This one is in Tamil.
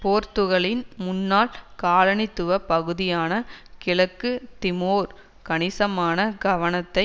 போர்த்துக்கலின் முன்னாள் காலனித்துவ பகுதியான கிழக்கு திமோர் கணிசமான கவனத்தை